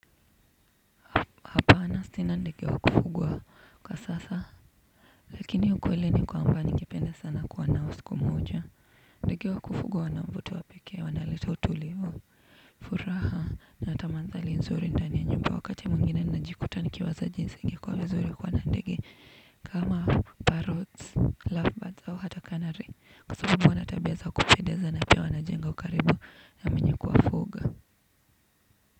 Maana sina ndege wa kufungwa kwa sasa. Lakini ukweli ni kwamba ningependa sana kuwa nao siku moja ndeg wa kufugwa wana mvuto wa pekee wana leta utulivu. Furaha na huleta mandhari nzuri ndani ya nyumba wakati mwingine najikuta ni kiwaza jinsi ingekua vizuri kuwa na ndege kama parots lovebirds au hata canary kwa sababu wana tabia za kupedeza na pia wanajenga ukaribu na mwenye kuwafuga.